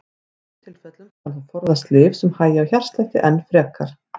Í þessum tilfellum skal þó forðast lyf sem hægja á hjartslætti enn frekar.